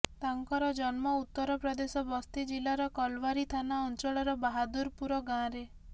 ତାଙ୍କର ଜନ୍ମ ଉତ୍ତରପ୍ରଦେଶ ବସ୍ତି ଜିଲ୍ଳାର କଲଓ୍ବାରୀ ଥାନା ଅଞ୍ଚଳର ବାହାଦୁରପୁର ଗାଁରେ